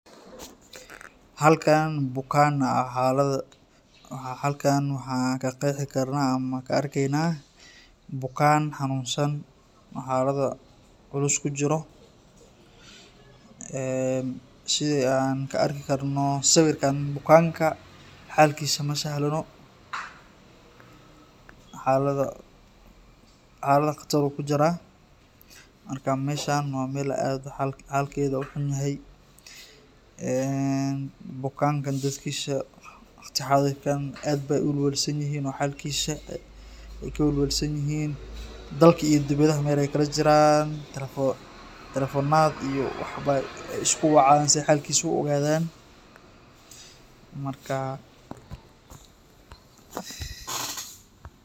Halkaan bukaan aa xaalada,,halkaan waxaan ka qeexi karnaa ama ka arkeynaa ,bukaan xanuunsan oo xaalado culus kujiro sidi aan ka arki karno sawirkaan bukaanka xaalkisa ma sahlano ,xaalada qatar uu kujiraa ,marka meshaan waa meel xaaad xaalkedu u xun yahay, bukaankan dadkiisa waqti xaadir kaan aad beey uwalwalsan yihiin oo xaalkisa ay ka walwalsan yihiin dalka iyo dibadaha meel ay kala jiraan telfonaad iyo waxbeey isku wacayaan si eey xaalkisa u ogadaan ,markaa .